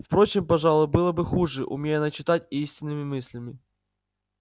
впрочем пожалуй было бы хуже умей она читать и истинными мыслями